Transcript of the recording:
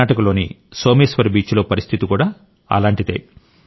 కర్ణాటకలోని సోమేశ్వర్ బీచ్లో పరిస్థితి కూడా అలాంటిదే